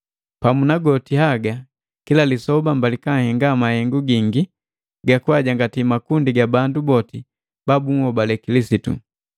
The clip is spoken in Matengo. Pamu na goti haga, kila lisoba mbalika nhenga mahengu gingi gakajangati makundi ga bandu boti ba bunhobali Kilisitu.